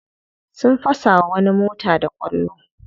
Sun fasa wa wani mota da kwallo.